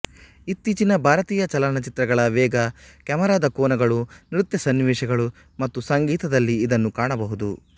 ಇತ್ತೀಚಿನ ಭಾರತೀಯ ಚಲನಚಿತ್ರಗಳ ವೇಗ ಕ್ಯಾಮರಾದ ಕೋನಗಳು ನೃತ್ಯ ಸನ್ನಿವೇಶಗಳು ಮತ್ತು ಸಂಗೀತದಲ್ಲಿ ಇದನ್ನು ಕಾಣಬಹುದು